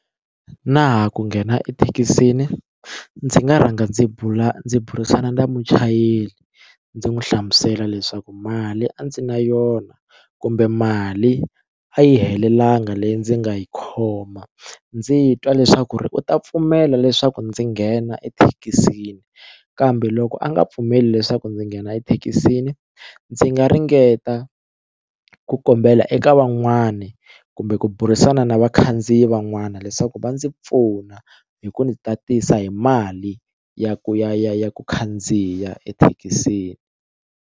Na ha ku nghena ethekisini ndzi nga rhanga ndzi bula ndzi burisana na muchayeri ndzi n'wi hlamusela leswaku mali a ndzi na yona kumbe mali a yi helelanga leyi ndzi nga yi khoma ndzi twa leswaku ri u ta pfumela leswaku ndzi nghena ethekisini kambe loko a nga pfumeli leswaku ndzi nghena ethekisini ndzi nga ringeta ku kombela eka van'wani kumbe ku burisana na vakhandziyi van'wana leswaku va ndzi pfuna hi ku ndzi tatisa hi mali ya ku ya ya ya ku khandziya ethekisini.